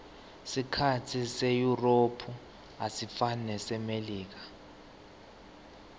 sikhatsi seyurophu asifani nesasemelika